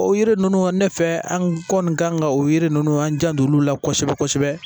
O yiri ninnu ne fɛ an kɔni kan ka o yiri ninnu an jando olu la kosɛbɛ kosɛbɛ